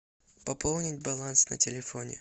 пополнить баланс на телефоне